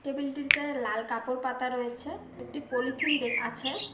Table -টিতে লাল কাপড় পাতা রয়েছে একটি পলিথিন দে আছে।